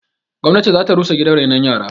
Gwamnati zata rusa gidan rainon yaran